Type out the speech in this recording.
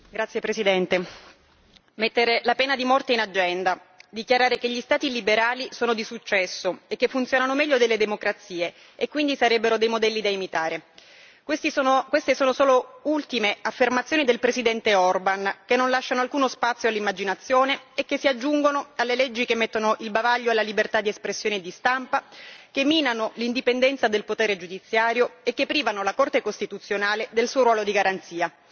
Signor Presidente, onorevoli colleghi, mettere la pena di morte in agenda, dichiarare che gli Stati liberali sono di successo e che funzionano meglio delle democrazie e quindi sarebbero dei modelli da imitare queste sono solo le ultime affermazioni del presidente Orbán che non lasciano alcuno spazio all'immaginazione e che si aggiungono alle leggi che mettono il bavaglio alla libertà di espressione e di stampa, che minano l'indipendenza del potere giudiziario e che privano la Corte costituzionale del suo ruolo di garanzia.